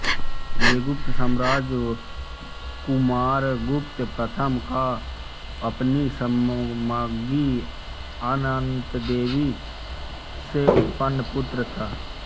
ये गुप्त सम्राट कुमारगुप्त प्रथम का अपनी सम्राज्ञी अनन्तदेवी से उत्पन्न पुत्र था